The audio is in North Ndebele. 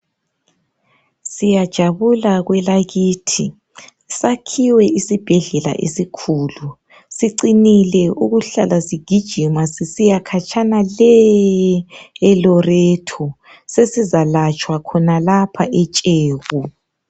Siyajabula kwelakithi, sakhiwe isibhedlela esikhulu, sicinile ukuhlala sigijima sisiya khatshana le eloreto sesizalatshwa khonalapha etsheku.